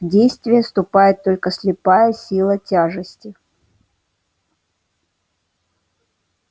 в действие вступает только слепая сила тяжести